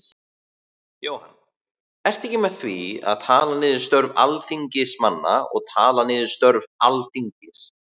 Jóhann: Ertu ekki með því að tala niður störf Alþingismanna og tala niður störf Alþingis?